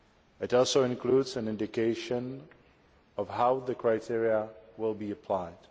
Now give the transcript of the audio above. It also includes an indication of how the criteria will be applied.